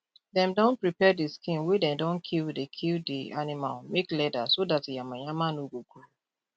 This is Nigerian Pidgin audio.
dem don prepare de skin wey dem don kill de kill de animal make leather so dat yama yama no go grow